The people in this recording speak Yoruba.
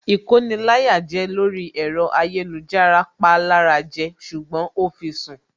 Ìkoni-láyàjẹ lórí ẹ̀rọ ayélujára pa lára jẹ ṣùgbọ́n ó fi sùn